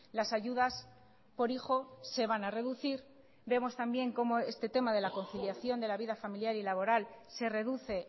las ayudas por hijo se van a reducir vemos también cómo este tema de la conciliación de la vida familiar y laboral se reduce